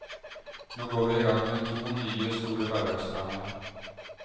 Nå går vi i gang med to nye, store hverdagsdramaer.